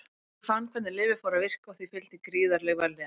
Ég fann hvernig lyfið fór að virka og því fylgdi gríðarleg vellíðan.